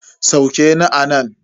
Sauke ni anan.